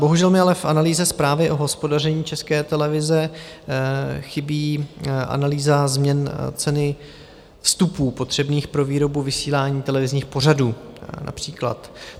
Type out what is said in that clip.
Bohužel mi ale v analýze zprávy o hospodaření České televize chybí analýza změn ceny vstupů potřebných pro výrobu vysílání televizních pořadů, například.